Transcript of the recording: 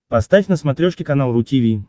поставь на смотрешке канал ру ти ви